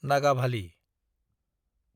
Nagavali